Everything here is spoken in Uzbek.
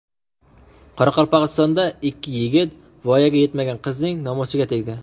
Qoraqalpog‘istonda ikki yigit voyaga yetmagan qizning nomusiga tegdi.